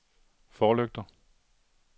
forlygter